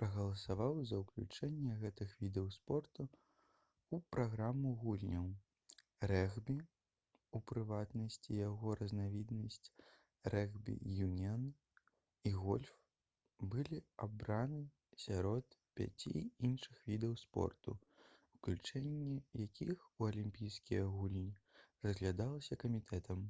прагаласаваў за ўключэнне гэтых відаў спорту ў праграму гульняў. рэгбі у прыватнасці яго разнавіднасць рэгбі-юніан і гольф былі абраны сярод пяці іншых відаў спорту уключэнне якіх у алімпійскія гульні разглядалася камітэтам